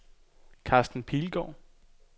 Karsten Pilgaard